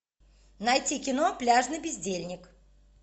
найти кино пляжный бездельник